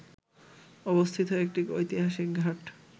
অবস্থিত একটি ঐতিহাসিক ঘাট